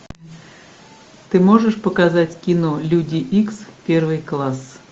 ты можешь показать кино люди икс первый класс